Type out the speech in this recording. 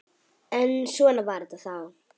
En svona var þetta þá.